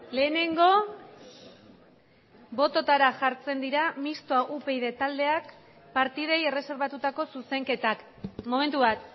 lehenengo bototara jartzen dira mistoa upyd taldeak partidei erreserbatutako zuzenketak momentu bat